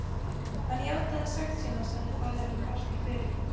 Hann játaði sekt sína, sagði faðirinn fastur fyrir.